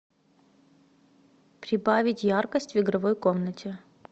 прибавить яркость в игровой комнате